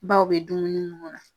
bɛ dumuni